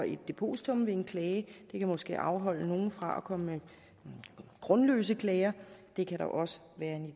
et depositum ved en klage måske kan afholde nogle fra at komme med grundløse klager det kan der også være